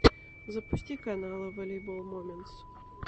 запусти каналы волейбол моментс